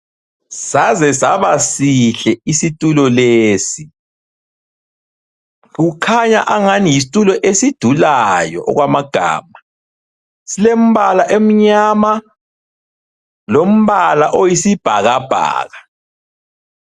Saze saba sihle isitulo lesi. Kukhanya angani yisitulo esidulayo okwamagama. Sile mbala emyama lombala oyisibhakabhaka.